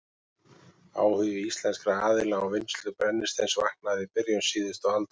Áhugi íslenskra aðila á vinnslu brennisteins vaknaði í byrjun síðustu aldar.